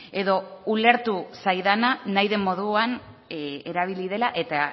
edo ulertu zaidana nahi den moduan erabili dela eta